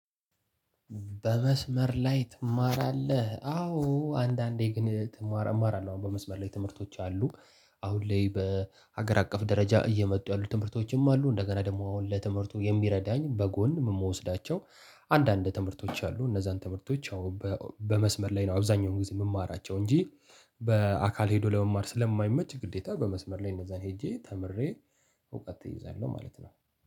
በመስመር ላይ ትማራለህ? አዎ አንዳንዴ ግን እማራለሁ አሁን በመስመር ላይ ትምህርቶች አሉ። አሁን ላይ በሀገር አቀፍ ደረጃ እየመጡ ያሉ ትምህርቶችም አሉ። እንደገና ደግሞ አሁን ለትምህርቱ የሚረዳኝ በጎን የምወስዳቸው አንዳንድ ትምህርቶች አሉ። እነዛን ትምህርቶች አሁን በመስመር ላይ ነው አብዛኛውን ጊዜ የምማራቸው እንጂ በአካል ሄዶ ለመማር ስለማይመች ግዴታ በመስመር ላይ እነዛን ሄጄ ተምሬ። እውቀት እይዛለሁ ማለት ነው።